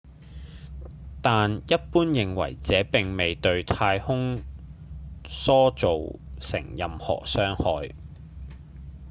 但一般認為這並未對太空梭造成任何損害